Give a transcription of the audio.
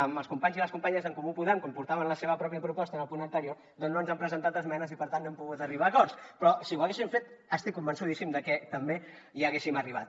amb els companys i les companyes d’en comú podem com que portaven la seva mateixa proposta en el punt anterior doncs no ens han presentat esmenes i per tant no hem pogut arribar a acords però si ho haguessin fet estic convençudíssim que també hi hauríem arribat